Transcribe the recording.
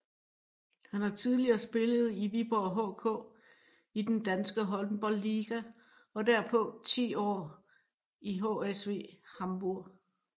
Han har tidligere spillet i Viborg HK i den danske Håndboldliga og derpå ti år i HSV Hamburg